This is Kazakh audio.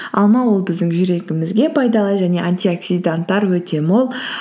алма ол біздің жүрегімізге пайдалы және антиоксиданттар өте мол